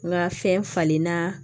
N ka fɛn falenna